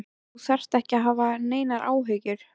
En þú þarft ekki að hafa neinar áhyggjur.